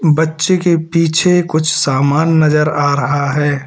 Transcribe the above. बच्चे के पीछे कुछ सामान नजर आ रहा है।